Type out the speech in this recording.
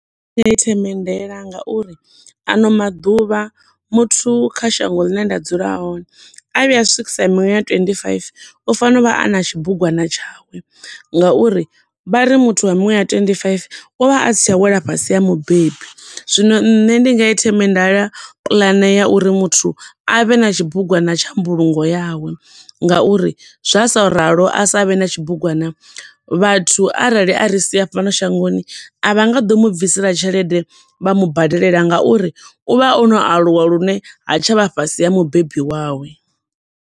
U a i themendela nga uri ano maḓuvha muthu kha shango ḽine nda dzula hone, a vhuya a swikisa miṅwaha ya twenty-five, u fanela u vha a na tshi bugwana tshawe nga uri vhari muthu wa miṅwaha ya twenty-five, u vha a sa tsha wela fhasi ha mubebi. Zwino nṋe ndi nga i themendela puḽane ya uri muthu a vhe na tshibugwana tsha mbulungo yawe, nga uri zwa sa ralo a sa vhe na tshibugwana, vhathu arali a ri sia fhano shangoni, a vha ngo ḓo mu bvisela tshelede vha mubadelela nga uri u vha o no aluwa lune ha tsha vha fhasi ha mubebi wawe.